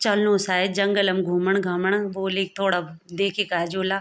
चलनु सायद जंगल म घूमण घामण बोलीक थोडा देखिके ऐजौला।